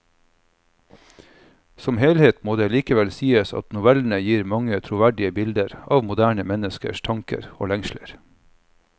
Som helhet må det likevel sies at novellene gir mange troverdige bilder av moderne menneskers tanker og lengsler.